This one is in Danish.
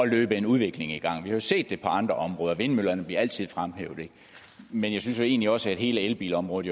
løbe en udvikling i gang vi har jo set det på andre områder vindmøllerne bliver altid fremhævet men jeg synes jo egentlig også at hele elbilområdet